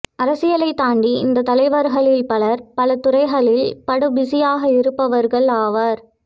அரசியலைத் தாண்டி இந்தத் தலைவர்களில் பலர் பல துறைகளில் படு பிசியாக இருப்பவர்கள் ஆவர்